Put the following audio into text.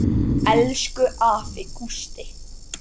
Elsku afi Gústi.